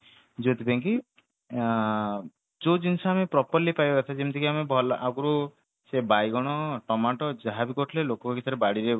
ଯୋଉଥି ପାଇଁ କି ଅ ଯୋଉ ଜିନିଷ ଆମେ properly ପାଇବା କଥା ଯେମିତି କି ଆମେ ଭଲ ଆଗରୁ ସେ ବାଇଗଣ ଟମାଟ ଯାହାବି କରୁଥିଲେ ଲୋକଙ୍କ ଭିତରେ ବାଡିରେ